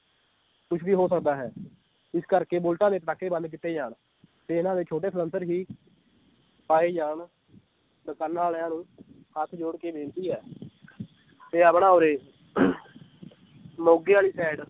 ਕੁਛ ਵੀ ਹੋ ਸਕਦਾ ਹੈ ਇਸ ਕਰਕੇ ਬੁਲਟਾਂ ਦੇ ਪਟਾਕੇ ਬੰਦ ਕੀਤੇ ਜਾਨ ਤੇ ਇਹਨਾਂ ਦੇ ਛੋਟੇ ਸਲੈਂਸਰ ਵੀ ਪਾਏ ਜਾਨ ਦੁਕਾਨਾਂ ਵਾਲਿਆਂ ਨੂੰ ਹੱਥ ਜੋੜ ਕੇ ਬੇਨਤੀ ਹੈ ਤੇ ਆਪਣੇ ਉਰ੍ਹੇ ਮੋਗੇ ਵਾਲੀ side